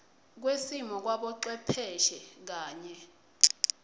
kwesimilo kwabocwepheshe kanye